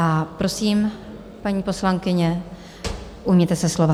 A prosím, paní poslankyně, ujměte se slova.